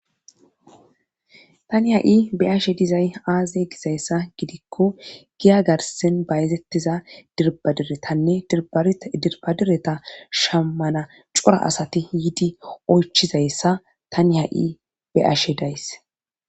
Tani ha7i beyashe dizay aaze gizayssa gidikko giya garsin bayzettiza dirbadiretanne dirbara dirbadireta shammana cora asati hiiidi oychizayssa tani ha7i be7ashe days